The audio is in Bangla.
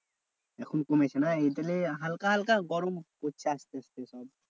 এখন কমেছে না? তাহলে হালকা হালকা গরম পড়ছে আসতে আসতে তাই?